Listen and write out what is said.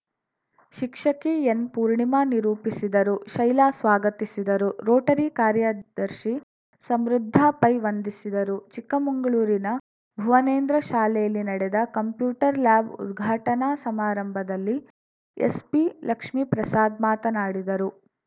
ಶಿಕ್ಷಕಿ ಎನ್‌ಪೂರ್ಣಿಮಾ ನಿರೂಪಿಸಿದರು ಶೈಲಾ ಸ್ವಾಗತಿಸಿದರು ರೋಟರಿ ಕಾರ‍್ಯದರ್ಶಿ ಸಮೃದ್ಧ ಪೈ ವಂದಿಸಿದರು ಚಿಕ್ಕಮಂಗಳೂರಿನ ಭುವನೇಂದ್ರ ಶಾಲೆಯಲ್ಲಿ ನಡೆದ ಕಂಪ್ಯೂಟರ್‌ ಲ್ಯಾಬ್‌ ಉದ್ಘಾಟನಾ ಸಮಾರಂಭದಲ್ಲಿ ಎಸ್ಪಿ ಲಕ್ಷ್ಮೀಪ್ರಸಾದ್‌ ಮಾತನಾಡಿದರು